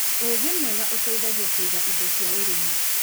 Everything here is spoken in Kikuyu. ũgĩ mwega ũteithagia kũiga indo cia ũrĩmi.